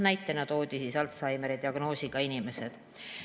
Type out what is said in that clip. Näitena toodi Alzheimeri diagnoosiga inimesed.